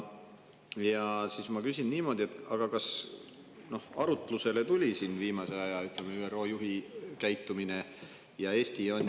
Ja nüüd ma küsin niimoodi: kas arutlusele tuli ka ÜRO juhi viimase aja käitumine?